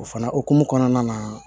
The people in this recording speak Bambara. O fana hokumu kɔnɔna na